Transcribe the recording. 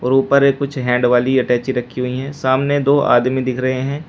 और ऊपर एक कुछ हैंड वाली अटैची रखी हुई हैं सामने दो आदमी दिख रहे हैं।